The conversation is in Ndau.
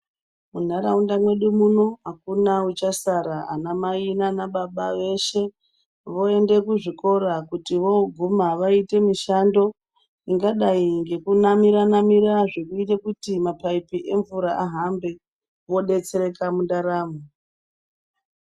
Muntaraunda mwedu muno, hakuna uchasara. Anamai nana baba veshe voende kuzvikora kutivoguma voite mishando ingadai ngekunamira namira zvinoite kuti mapayipi emvura ahambe vodetsereka muntaramo.